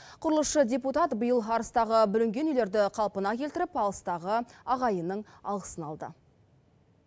құрылысшы депутат биыл арыстағы бүлінген үйлерді қалпына келтіріп алыстағы ағайынның алғысын алды